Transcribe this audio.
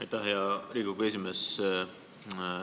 Aitäh, hea Riigikogu esimees!